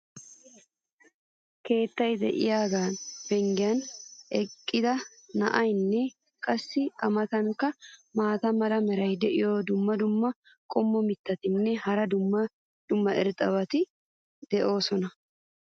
keettay diyaagaa penggen eqqida na"aynne qassi a matankka maata mala meray diyo dumma dumma qommo mitattinne hara dumma dumma irxxabati de'oosona.